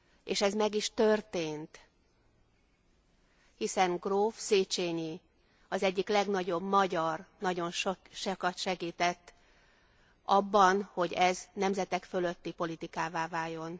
És ez meg is történt, hiszen gróf Széchenyi, az egyik legnagyobb magyar nagyon sokat segített abban, hogy ez nemzetek fölötti politikává váljon.